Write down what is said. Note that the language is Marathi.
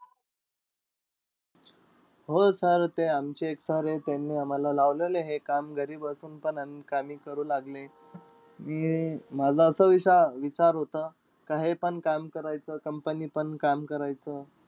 हो sir ते आमचे एक sir हे, त्यांनी आम्हाला लावलेलं हे काम घरी बसून पण आणि कामही करू लागले. अं माझा असा विशा विचार होता का हे पण काम करायचं, company पण काम करायचं.